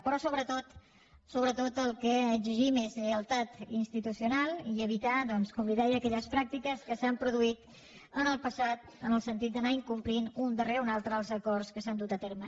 però sobretot el que exigim és lleialtat institucional i evitar doncs com li deia aquelles pràctiques que s’han produït en el passat en el sentit d’anar incomplint un darrere un altre els acords que s’han dut a terme